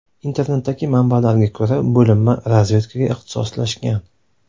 Internetdagi manbalarga ko‘ra, bo‘linma razvedkaga ixtisoslashgan.